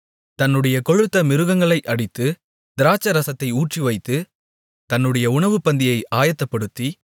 தன்னுடைய கொழுத்த மிருகங்களை அடித்து திராட்சைரசத்தை ஊற்றிவைத்து தன்னுடைய உணவுப்பந்தியை ஆயத்தப்படுத்தி